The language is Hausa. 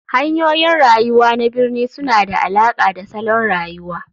Hanyoyin rayuwa na birni suna da alaƙa da salon rayuwa.